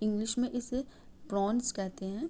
English में इसे pronouns कहते हैं।